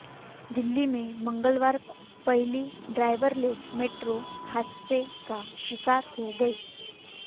दिल्ली में मंगलवार को पहली ड्राइवरलेस मेट्रो हादसे का शिकार हो गई